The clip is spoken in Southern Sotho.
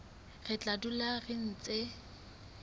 re tla dula re ntse